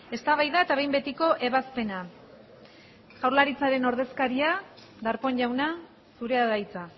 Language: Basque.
eztabaida eta behin betiko ebazpena jaurlaritzaren ordezkaria darpón jauna zurea da hitza